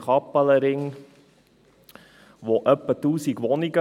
Im Kappelenring hat es etwa 1000 Wohnungen.